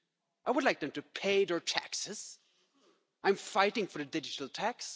I would like them to pay their taxes. I'm fighting for a digital tax.